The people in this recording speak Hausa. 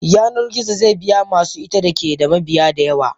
Yanar gizo ze biya masu ita da keda mabiya da yawa.